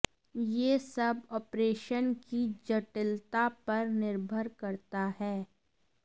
यह सब ऑपरेशन की जटिलता पर निर्भर करता है